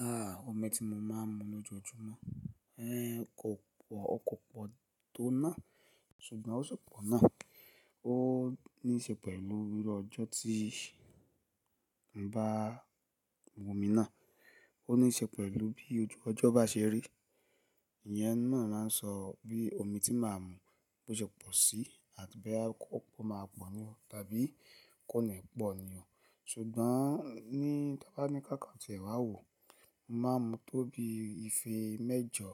Ah, omi tí mo máa ń mu lójoójúmọ́, ẹ́ kò pọ̀, ó kò pọ̀ tó náà, ṣùgbọ́n ó sì pọ̀ náà. Ó níí ṣe pẹ̀lú irú ọjọ́ tí ń bá mu omi náà. Ó níí ṣe pẹ̀lù bí ojú ọjọ́ bá ṣe rí. Ìyẹn náà maa n sọ bí omi tí màá mú bó ṣe pọ̀ sí atí boya o máa pọ̀ ní o tàbí kó ni pọ̀ ní o. Ṣùgbọ́n ni, ka ko tí e wa wo bá ní káàko tí ẹ̀ wá wò, mo máa ń mu tó bí ìfẹ́ mẹ́jọ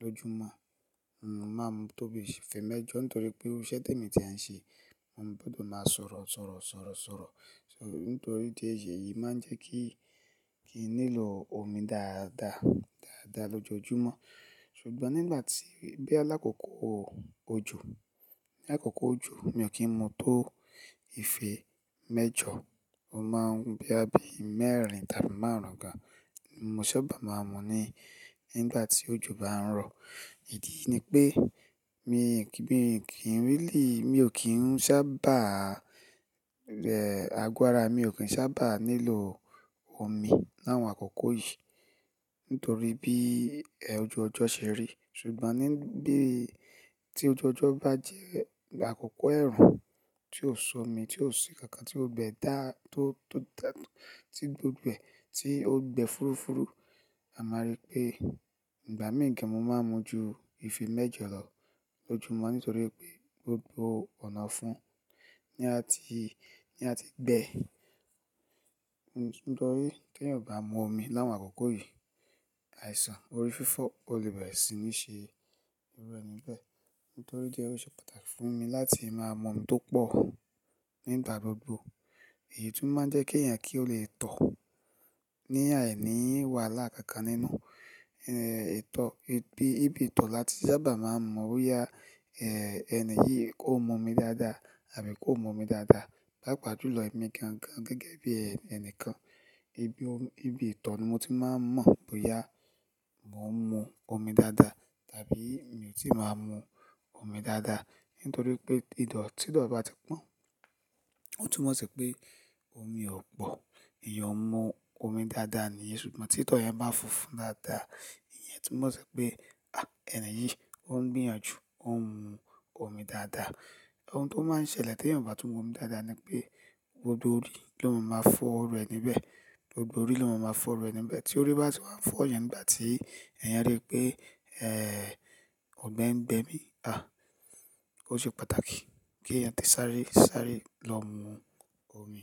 lójúmọ́. N ò máa ń mu tó bí ìfẹ́ mẹ́jọ nítorí pé iṣẹ́ t'èmi ti e ń ṣe, mo ń gbọdọ̀ máa sọ̀rọ̀ sọ̀rọ̀ sọ̀rọ̀ sọ̀rọ̀. Nítorí idí èyí, èyí máa ń jẹ́ kí kí n nílò omi dáadáa dáadáa lójoójúmọ́. Ṣùgbọ́n nígbà tí boya lákọ̀ọ́kọ̀ọ́ òjò, ní àkọ̀ọ́kọ̀ọ́ òjò mi ò kí ń mu tó ìfẹ́ mẹ́jọ. Mo máa ń mu boya bí mẹ́rin tàbí márùn-ún gan ni mo sábà máa ń mu ní nígbà tí òjò bá ń rọ̀. Idi ni pé mi kì í, mi ò kí ń rí lì, mi ò kí ń sábà rẹ̀ àg'àrà, mi ò kí ń sábà nílò omi láwọn àkọ́kọ́ yìí nítorí bí è ọju ọjọ́ ṣe rí. Ṣùgbọ́n níbí tí ojú ọjọ́ bá jẹ́ àkọ́kọ́ ẹ̀rùn tí ò s'omi, tí ò si nkankan, tí ó bẹ̀ dá tó tó dá tó ti gbó gbẹ̀, tí ó gbẹ́ fúrufúru, a máa rí pé ìgbà mí gan mo máa ń mu ju ìfẹ́ mẹ́jọ lọ lójúmọ́ nítorí pé ó gbó ọ̀nà fún ní àti ní àti gbẹ. Nítorí tí èèyàn ò bá mu omi láwọn àkọ́kọ́ yìí, àìsàn orí fífọ́ ò lè bẹ̀rẹ̀ sí n'ṣe irú ẹni bẹ́ẹ̀. Nítorí o je ose pàtàkì fún mi láti máa mu omi tó pọ̀ nígbà gbogbo. Èyí tún máa ń jẹ́ kí èèyàn kí ó lè tọ̀ ní àìní wàhálà kánkàn nínú, eh, ìtọ̀, ibi ibi ìtọ̀ láti sábà máa mọ̀ bóyá, eh, ẹnì yìí ó ń mu omi dáadáa àbí kó ń mu omi dáadáa, pàápàá jùlọ ẹmi gangan gẹ́gẹ́ bí ẹnìkan. Ibi ibi ìtọ̀ ni mo ti máa ń mọ̀ bóyá mò ń mu omi dáadáa tàbí mi ò tíì máa mu omi dáadáa. Nítorí pé ìdọ̀tí, ti'to bá ti pọ̀n, ó tún mọ̀ sí pé omi ò pọ̀, èèyàn ń mu omi dáadáa nìyẹn. Ṣùgbọ́n tí ìtọ̀ yẹn bá fúnfún dáadáa, ìyẹn ti mọ̀ sí pé, ah, ẹnì yìí ó ń gbìyànjú, ó ń mu omi dáadáa. Ohun tó máa ń ṣẹlẹ̀ tí èèyàn ò bá tún mu omi dáadáa ni pé gbogbo orí ló máa máa fọ́ ru enibẹ̀, gbogbo orí ló máa máa fọ́ ru eníbẹ̀. Ti orí ba ti n wa fo'yan ngbati eyan ri wípé o n gbe n'gbemi, o se pàtàkì ki eyan ti sáré sáré lo mu omi.